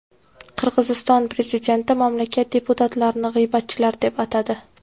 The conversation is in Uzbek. Qirg‘iziston prezidenti mamlakat deputatlarini g‘iybatchilar deb atadi.